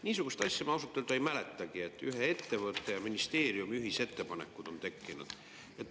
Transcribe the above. Niisugust asja ma ausalt öelda ei mäletagi, et ühe ettevõtte ja ministeeriumi ühisettepanekud on tekkinud.